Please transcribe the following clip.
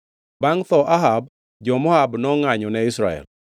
Bangʼ tho Ahab, jo-Moab nongʼanyo ne Israel.